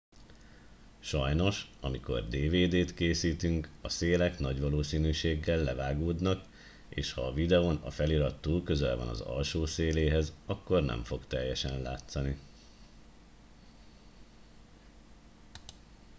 sajnos amikor dvd t készítünk a szélek nagy valószínűséggel levágódnak és ha a videón a felirat túl közel van az alsó széléhez akkor nem fog teljesen látszani